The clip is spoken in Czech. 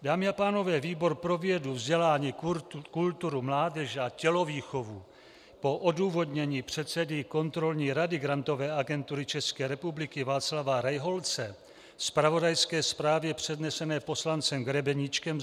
Dámy a pánové, výbor pro vědu, vzdělání, kulturu, mládež a tělovýchovu po odůvodnění předsedy Kontrolní rady Grantové agentury České republiky Václava Rejholce a zpravodajské zprávě přednesené poslancem Grebeníčkem: